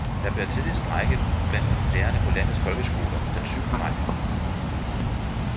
Der bliver tidligst strejke blandt lærerne på landets folkeskoler den syvende maj.